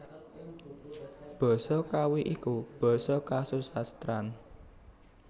Basa Kawi iku basa kasusastran